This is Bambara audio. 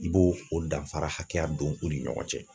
I b'o o danfara hakɛya don o ni ɲɔgɔn cɛ